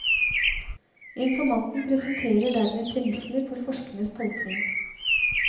Informanten presenterer dermed premissene for forskerens tolkning.